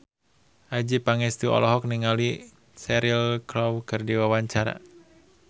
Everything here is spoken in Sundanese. Adjie Pangestu olohok ningali Cheryl Crow keur diwawancara